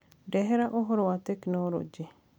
ndehera ũhoro wa tekinoronjĩ